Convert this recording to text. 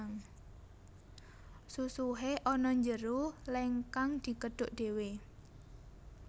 Susuhe ana njero leng kang dikedhuk dhewe